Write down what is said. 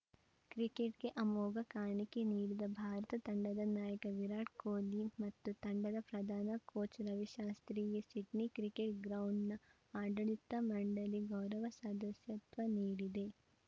ಕ್ರಿಕೆಟ್‌ಗೆ ಅಮೋಘ ಕಾಣಿಕೆ ನೀಡಿದ ಭಾರತ ತಂಡದ ನಾಯಕ ವಿರಾಟ್‌ ಕೊಹ್ಲಿ ಮತ್ತು ತಂಡದ ಪ್ರಧಾನ ಕೋಚ್‌ ರವಿಶಾಸ್ತ್ರಿಗೆ ಸಿಡ್ನಿ ಕ್ರಿಕೆಟ್‌ ಗ್ರೌಂಡ್‌ ನ ಆಡಳಿತ ಮಂಡಳಿ ಗೌರವ ಸದಸ್ಯತ್ವ ನೀಡಿದೆ